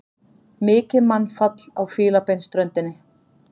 Mikið mannfall á Fílabeinsströndinni